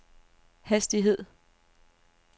hastighed